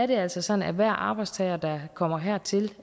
det er altså sådan at hver arbejdstager der kommer hertil